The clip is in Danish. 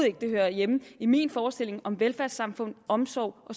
ikke det hører hjemme i min forestilling om velfærdssamfund omsorg